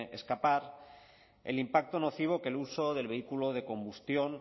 escapar el impacto nocivo que el uso del vehículo de combustión